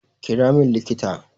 Kira min likita!